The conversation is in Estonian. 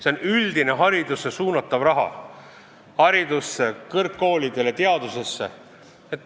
Ma pean silmas üldse haridusse suunatavat raha – koolidele, kõrgkoolidele, teadusesse.